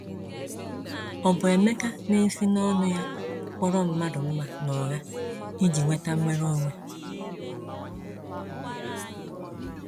Ọ̀ bụ Emeka na-esi n’ọnụ́ ya kpọrọ mmadụ mma n’ụgha iji nweta nnwere onwe?